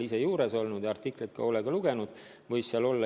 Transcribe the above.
Ma ise seal juures ei olnud ja artiklit ka hoolega ei lugenud.